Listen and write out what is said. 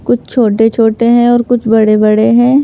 कुछ छोटे-छोटे हैं और कुछ बड़े-बड़े हैं।